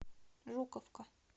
жуковка